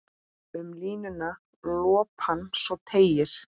Um línuna lopann svo teygir.